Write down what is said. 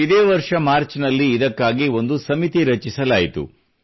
ಇದೇ ವರ್ಷ ಮಾರ್ಚ್ ನಲ್ಲಿ ಇದಕ್ಕಾಗಿ ಒಂದು ಸಮಿತಿ ರಚಿಸಲಾಯಿತು